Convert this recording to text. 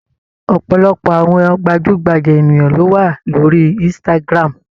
Ọ̀pọ̀lọpọ̀ àwọn gbajúgbajà ènìyàn ló wà lórí Instagram.